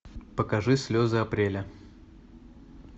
покажи слезы апреля